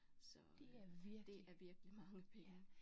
Så øh det er virkelig mange penge